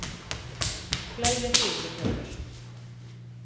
Gleðja þig Vilhjálmur.